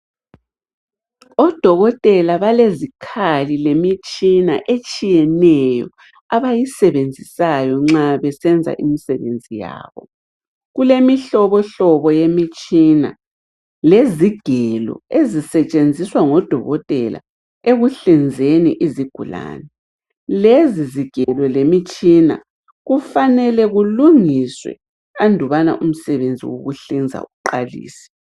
Odokotela balezikhali lemitshina etshiyeneyo abayisebenzisayo nxa besenza imisebenzi yabo. Kulemihlobohlobo yemitshina lezigelo ezisetshenziswa ngodokotela ekuhlinzeni izigulane. Lezi zigelo lemitshina kufanele kulungiswe andubana umsebenzi wokuhlinza uqalise.